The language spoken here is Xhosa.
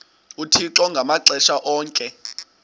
uthixo ngamaxesha onke